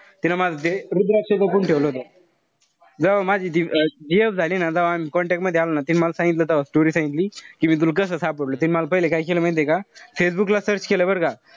तीन माझं ते रुद्राक्ष बघणं ठेवलं होत. जव्हा माझी ती gf झाली ना. तव्हा आम्ही contact मध्ये आलो ना. तीन मल सांगितलं तेव्हा story सांगितली. कि मी तुला कस सापडवल. तीन मल पहिले काय केलं माहितीय का. फेसबुकला search केलं बरं का.